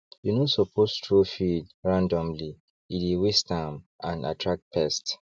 you no suppose throw feed randomly e dey waste am and attract pests